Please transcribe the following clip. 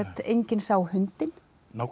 enginn sá hundinn